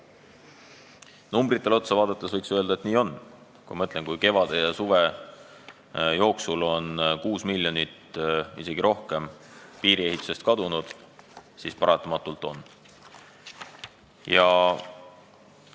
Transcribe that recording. Numbritele otsa vaadates võiks öelda, et nii on: kui kevade ja suve jooksul on kuus miljonit, isegi rohkem, piiriehitusest kadunud, siis paratamatult just nii see on.